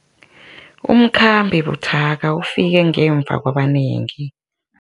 Umkhambi buthaka ufike ngemva kwabanengi.